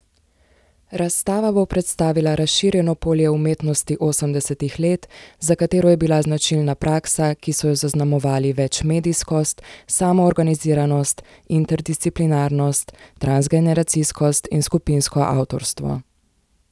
Razstava bo predstavila razširjeno polje umetnosti osemdesetih let, za katero je bila značilna praksa, ki so jo zaznamovali večmedijskost, samoorganiziranost, interdisciplinarnost, transgeneracijskost in skupinsko avtorstvo.